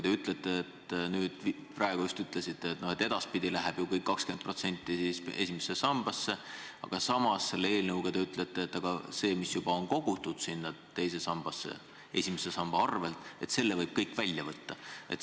Te just praegu ütlesite, et edaspidi läheb kõik 20% esimesse sambasse, aga samas on eelnõus öeldud, et selle, mis juba on kogutud teise sambasse esimese samba arvel, võib kõik välja võtta.